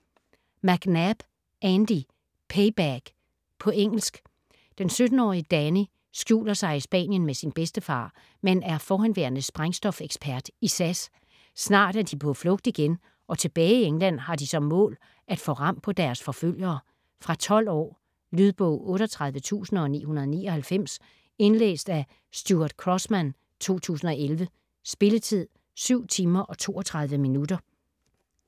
McNab, Andy: Payback På engelsk. Den 17-årige Danny skjuler sig i Spanien med sin bedstefar, som er forhenværende sprængstofekspert i SAS. Snart er de på flugt igen, og tilbage i England har de som mål at få ram på deres forfølgere. Fra 12 år. Lydbog 38999 Indlæst af Stuart Crossman, 2011. Spilletid: 7 timer, 32 minutter.